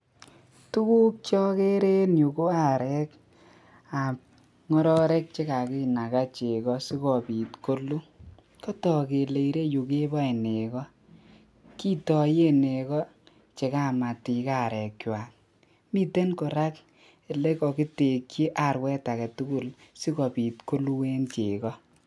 Tukuk Che akere en yu ko arek chekakibai arek ak cheko akoboru kora korik chekakitekyi konyi eng taban taban ak kakibare sikik kwaak arek